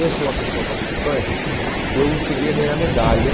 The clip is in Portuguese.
Eu sou uma pessoa participante, eu cheguei a ganhar medalha.